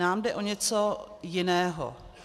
Nám jde o něco jiného.